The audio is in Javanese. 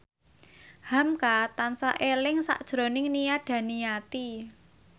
hamka tansah eling sakjroning Nia Daniati